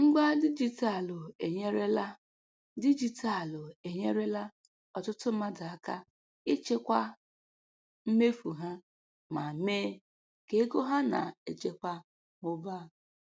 Ngwa dijitalụ enyerela dijitalụ enyerela ọtụtụ mmadụ aka ịchịkwa mmefu ha ma mee ka ego ha na-echekwa mụbaa.